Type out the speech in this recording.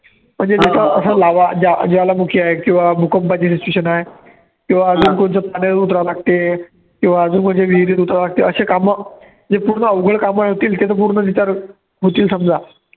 म्हणजे ज्वा ज्वालामुखी आहे किंवा भूकंपाचे location आहे किंवा अजून कोणचे उतरावे लागते किंवा अजून कोणचे विहिरीत उतरावे लागते असे कामं, जे पूर्ण अवघड कामं होतील ते तर पूर्ण होतील समजा.